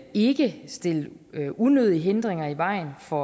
ikke stille unødige hindringer i vejen for